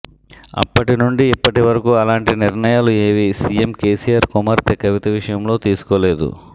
అప్పటి నుండి ఇప్పటి వరకు అలాంటి నిర్ణయాలు ఏవీ సీఎం కేసీఆర్ కుమార్తె కవిత విషయంలో తీసుకోలేదు